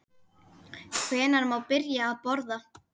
Hvenær má byrja að borða?